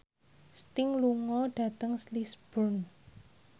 Sting lunga dhateng Lisburn